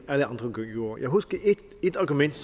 gjorde jeg husker ét argument